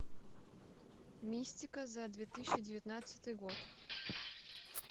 мистика за две тысячи девятнадцатый год